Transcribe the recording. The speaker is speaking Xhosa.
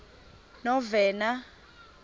novena